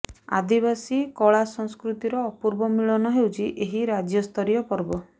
ଆଦିବାସୀ କଳା ସଂସ୍କୃତିର ଅପୂବ ମିଳନ ହେଉଛି ଏହି ରାଜ୍ୟ ସ୍ତରୀୟ ପରବ